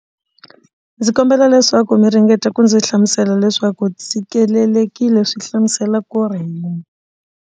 Ndzi kombela leswaku mi ringeta ku ndzi hlamusela leswaku tshikelelekile swi hlamusela ku ri .